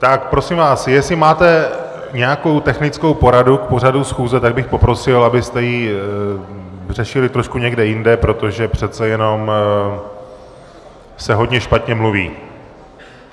Tak prosím vás, jestli máte nějakou technickou poradu k pořadu schůze, tak bych poprosil, abyste ji řešili trošku někde jinde, protože přece jenom se hodně špatně mluví.